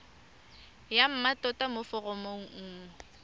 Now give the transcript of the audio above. ya mmatota mo foromong nngwe